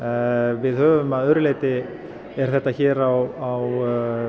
við höfum að öðru leyti þetta hér er á